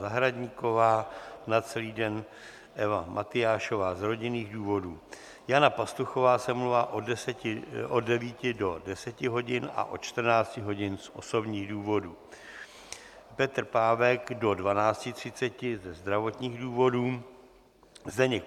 Zahradníková, na celý den Eva Matyášová z rodinných důvodů, Jana Pastuchová se omlouvá od 9 do 10 hodin a od 14 hodin z osobních důvodů, Petr Pávek do 12.30 ze zdravotních důvodů, Zdeněk